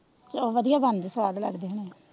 ਚੋਲ ਵਡਿਆ ਬਨਦੇ ਸਵਾਦ ਲੱਗਦੇ ਓਹਨਾਂ ਨੂੰ,